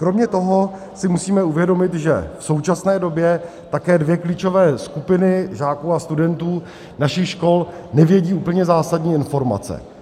Kromě toho si musíme uvědomit, že v současné době také dvě klíčové skupiny žáků a studentů našich škol nevědí úplně zásadní informace.